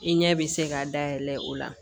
I ɲɛ bɛ se ka dayɛlɛ o la